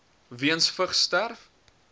weens vigs sterf